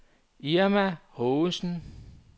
Irma Haagensen